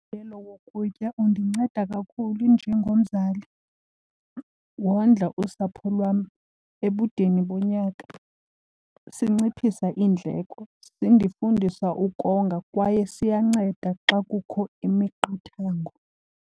Umgalelo wokutya undinceda kakhulu njengomzali, wondla usapho lwam ebudeni bonyaka. Sinciphisa iindleko sindifundisa ukonga kwaye siyanceda xa kukho imiqathango.